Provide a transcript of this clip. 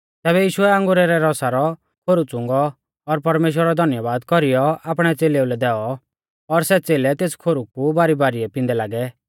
तैबै यीशुऐ अंगुरा रै रौसा रौ खोरु च़ुंगौ और परमेश्‍वरा रौ धन्यबाद कौरीयौ आपणै च़ेलेउलै दैऔ और सै च़ेलै तेस खोरु कु बारीबारिऐ पिंदै लागै